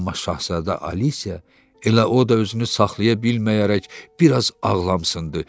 Amma şahzadə Alisiya elə o da özünü saxlaya bilməyərək bir az ağlamışdı.